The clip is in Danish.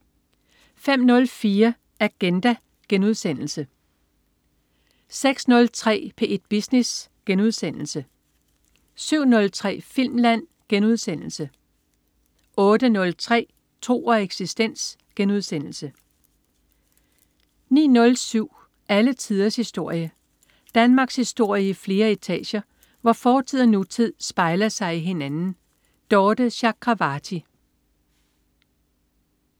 05.04 Agenda* 06.03 P1 Business* 07.03 Filmland* 08.03 Tro og eksistens* 09.07 Alle tiders historie. Danmarkshistorie i flere etager, hvor fortid og nutid spejler sig i hinanden. Dorthe Chakravarty